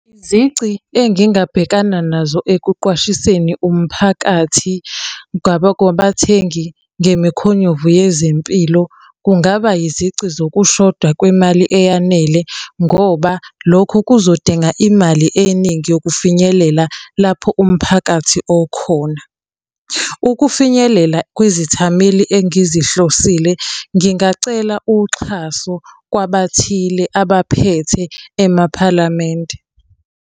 Izici engingabhekana nazo ekuqwashiseni umphakathi kwabathengi ngemikhonyovu yezempilo, kungaba yizici zokushoda kwemali eyanele ngoba lokho kuzodinga imali eningi yokufinyelela lapho umphakathi okhona. Ukufinyelela kwizithameli engizihlosile ngingacela uxhaso kwabathile abaphethe emaphalamende.